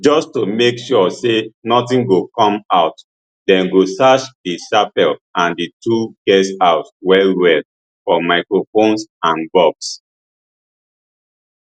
just to make sure say nothing go come out dem go search di chapel and di two guesthouses wellwell for microphones and bugs